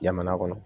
Jamana kɔnɔ